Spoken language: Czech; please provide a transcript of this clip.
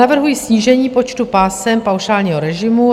Navrhuji snížení počtu pásem paušálního režimu.